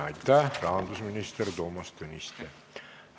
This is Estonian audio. Aitäh, rahandusminister Toomas Tõniste!